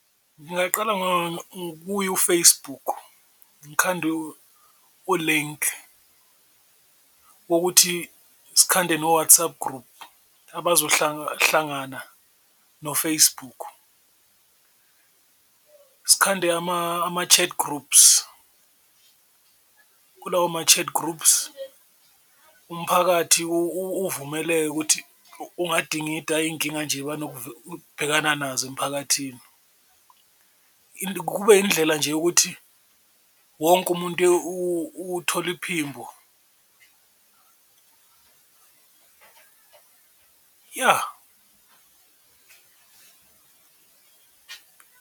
Ngingaqala kuye u-Facebook ngikhande u-link wokuthi sikhande no-WhatsApp group no-Facebook, sikhande ama-chart groups kulawo ma-chats groups umphakathi uvumeleke ukuthi ungadingida iyinkinga nje nazo emiphakathini. Kube indlela nje yokuthi wonke umuntu uthola iphimbo ya.